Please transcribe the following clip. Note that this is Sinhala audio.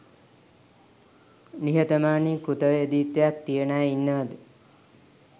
නිහතමානී කෘත වේදීත්වයක් තියෙන අය ඉන්නවද